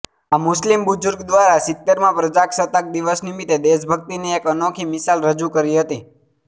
આ મુસ્લીમ બુજુર્ગ દ્વારા સિત્તેરમાં પ્રજાસતાક દિવસ નિમિત્તે દેશભક્તિની એક અનોખી મિશાલ રજૂ કરી હતી